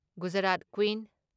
Gujarat queen